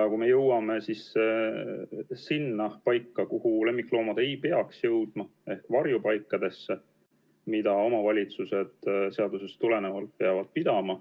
Ja see hõlmab ka paiku, kuhu lemmikloomad ei peaks jõudma, ehk varjupaiku, mida omavalitsused seadusest tulenevalt peavad pidama